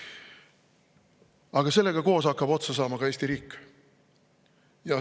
Aga sellega koos hakkab otsa saama ka Eesti riik.